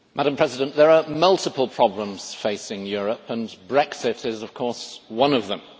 Madam President, there are multiple problems facing Europe, and Brexit is of course one of them.